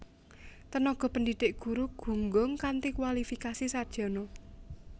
Tenaga pendidik guru gunggung kanthi kuwalifikasi sarjana